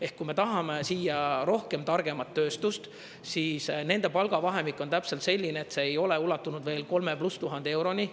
Ehk kui me tahame siia rohkem targemat tööstust, siis nende palgavahemik on täpselt selline, et see ei ole ulatunud veel 3000 pluss euroni.